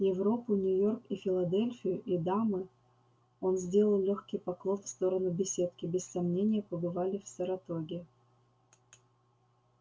европу нью-йорк и филадельфию и дамы он сделал лёгкий поклон в сторону беседки без сомнения побывали в саратоге